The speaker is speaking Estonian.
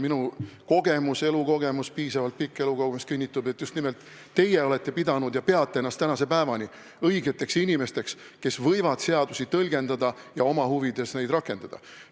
Minu piisavalt pikk elukogemus kinnitab, et just nimelt teie olete pidanud ja peate ennast tänase päevani õigeteks inimesteks, kes võivad seadusi tõlgendada ja neid oma huvides rakendada.